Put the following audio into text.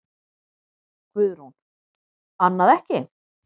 Guðrún: Annað ekki?